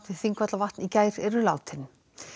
Þingvallavatn í gær eru látin